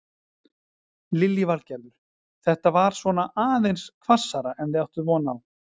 Lillý Valgerður: Þetta var svona aðeins hvassara en þið áttuð von á?